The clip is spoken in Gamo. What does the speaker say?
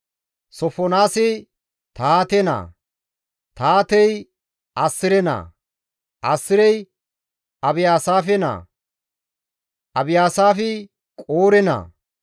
Sofonaasi Tahaate naa; Tahaatey Assire naa; Asirey Abiyaasaafe naa; Abiyaasaafi Qoore naa;